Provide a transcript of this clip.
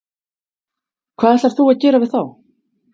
Hvað ætlar þú að gera við þá?